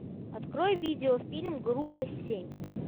открой видеофильм группа семь